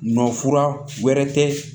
Nɔfura wɛrɛ tɛ